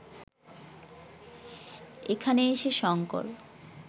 এখানে এসে শঙ্কর